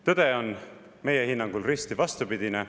Tõde on meie hinnangul risti vastupidine.